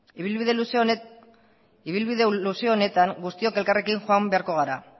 ibilbide luze honetan guztiok elkarrekin joan beharko gara